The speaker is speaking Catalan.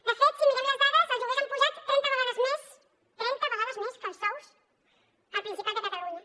de fet si mirem les dades els lloguers s’han apujat trenta vegades més trenta vegades més que els sous al principat de catalunya